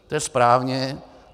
To je správně.